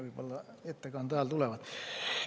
Võib-olla need ettekande ajal tulevad.